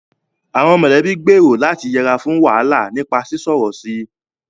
Àwọn mọ̀lẹ́bí gbèrò láti yẹra fún wàhálà nípa sísọ̀rọ̀ sí i